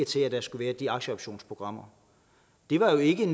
til at der skulle være de aktieoptionsprogrammer det var jo ikke